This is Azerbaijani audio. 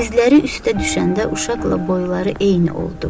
Dizləri üstə düşəndə uşaqla boyları eyni oldu.